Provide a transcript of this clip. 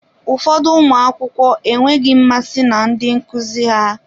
Ụfọdụ ụmụ akwụkwọ enweghị mmasị na ndị nkuzi ha.